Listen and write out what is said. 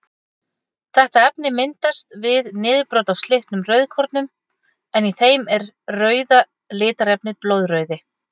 Þetta efni myndast við niðurbrot á slitnum rauðkornum en í þeim er rauða litarefnið blóðrauði.